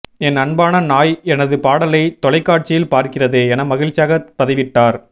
என் அன்பான நாய் எனது பாடலை தொலைக்காட்சியில் பார்க்கிறது என மகிழ்ச்சியாக பதிவிட்டார்